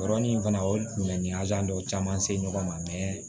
Yɔrɔnin fana o ye dɔw caman se ɲɔgɔn ma